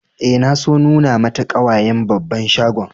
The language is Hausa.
Eh, na so nuna mata kawayen babban shagon.